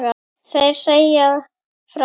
Þeir segja fátt